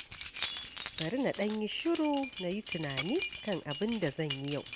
Bari na ɗan yi shiru, na yi tunani kan abin da zan yi yau.